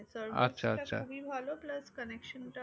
খুবই ভালো plus connection টা